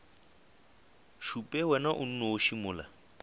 šupe wena o nnoši mola